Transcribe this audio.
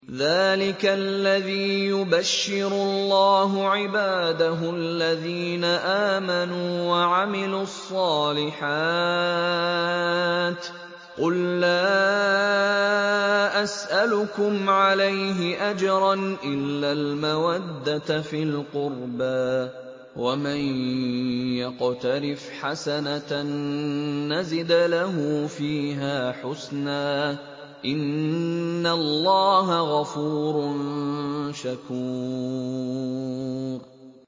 ذَٰلِكَ الَّذِي يُبَشِّرُ اللَّهُ عِبَادَهُ الَّذِينَ آمَنُوا وَعَمِلُوا الصَّالِحَاتِ ۗ قُل لَّا أَسْأَلُكُمْ عَلَيْهِ أَجْرًا إِلَّا الْمَوَدَّةَ فِي الْقُرْبَىٰ ۗ وَمَن يَقْتَرِفْ حَسَنَةً نَّزِدْ لَهُ فِيهَا حُسْنًا ۚ إِنَّ اللَّهَ غَفُورٌ شَكُورٌ